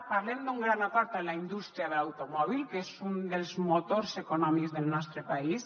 parlem d’un gran acord amb la indústria de l’automòbil que és un dels motors econòmics del nostre país